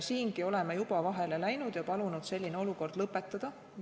Siingi oleme juba vahele läinud ja palunud selline praktika lõpetada.